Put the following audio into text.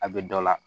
A bɛ dɔ la